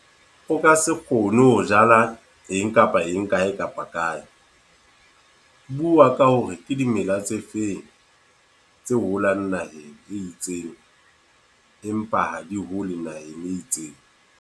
O ka se kgone ho jala eng kapa eng, kae kapa kae. Bua ka hore ke dimela tse feng tse holang naheng e itseng. Empa ha di hole naheng e itseng.